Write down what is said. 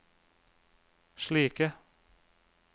slike